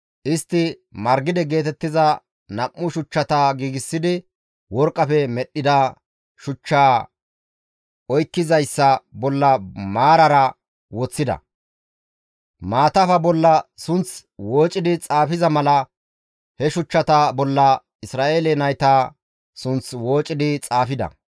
Istti margide geetettiza nam7u shuchchata giigsidi worqqafe medhdhida shuchchu oykkizayssa bolla maarara woththida. Maatafa bolla sunth wooci xaafiza mala he shuchchata bolla Isra7eele nayta sunth woocidi xaafida.